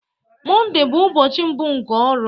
Mondee bụ ụbọchị mbụ nke ọrụ